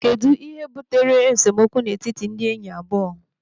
Kedụ ihe butere esemokwu n'etiti ndị enyi abụọ?